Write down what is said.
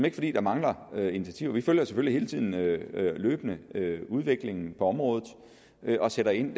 ikke fordi der mangler initiativer vi følger selvfølgelig hele tiden løbende udviklingen på området og sætter ind